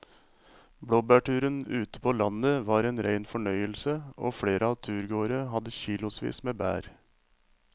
Blåbærturen ute på landet var en rein fornøyelse og flere av turgåerene hadde kilosvis med bær.